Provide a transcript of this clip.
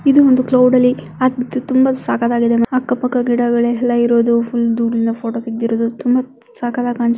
ಇದು ಒಂದು ಕ್ಲೌಡ್ ಅಲ್ಲಿ ಆದ ತುಂಬಾ ಸಖತ್ ಆಗಿದೆ ಅಕ್ಕ ಪಕ್ಕ ಗಿಡಗಳೇ ಎಲ್ಲ ಇರುವುದು ಫುಲ್ ದೂರದಿಂದ ಫೋಟೋ ತಗದಿರುವುದು ತುಂಬಾ ಸಕ್ಕತಾಗ್ --